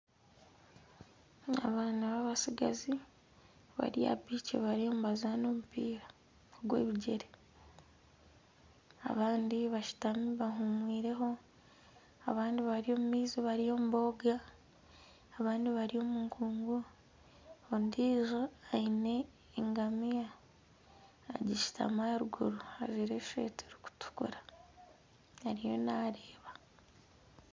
Abaana babatsigazi bari aha biiki bariyo nibazaana omupiira gw'ebigyere, abandi bashutami baahumwire abandi bari omu maizi bariyo nibooga abandi bari omu nkugu ondiijo aine engamiya agishutami ahaiguru ajwire esweeta erikutukura ariyo naareeba